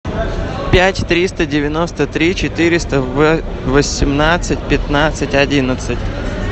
пять триста девяносто три четыреста восемнадцать пятнадцать одиннадцать